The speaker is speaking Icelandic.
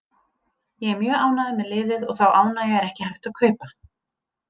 Ég er mjög ánægður með liðið og þá ánægju er ekki hægt að kaupa.